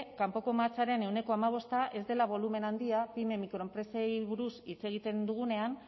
kanpoko mahatsaren ehuneko hamabosta ez dela bolumen handia pyme mikroenpresei buruz hitz egiten dugunean